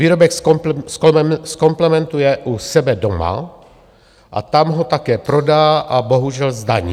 Výrobek zkompletuje u sebe doma a tam ho také prodá a bohužel zdaní.